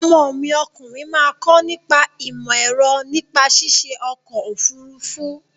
Ọmọ mi ọkùnrin máa kọ nípa ìmọ-ẹ̀rọ nípa ṣiṣe ọkọ-òfurufú.